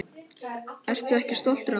Ertu ekki stoltur af honum?